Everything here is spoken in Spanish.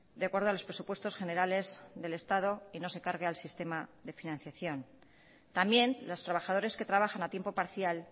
de acuerdo a los presupuestos generales del estado y no se cargue al sistema de financiación también los trabajadores que trabajan a tiempo parcial